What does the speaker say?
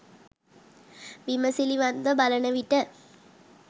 විමසිලිමත්ව බලන විට,